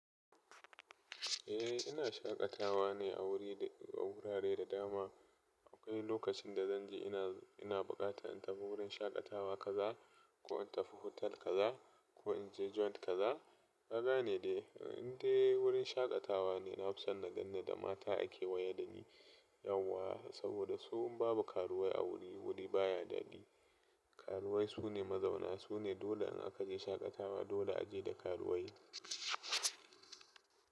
Eh ina shaƙatawa ne a wuri, a wurare da dama. Akwai lokacin da zanje ina, ina buƙata in tafi wurin shaƙatawa kaza ko in tafi hotel kaza ko in je joint kaza. Gaba ne dai inda wurin shaƙatawa ne. Na fi son na ganni da mata ake waya da ni yauwa saboda su babu karuwai a wuri. Wuri baya daɗi. Karuwai su ne mazauna, su ne dole in aka je shaƙatawa dole a je da karuwai.